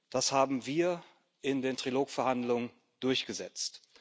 Das haben wir in den Trilog Verhandlungen durchgesetzt.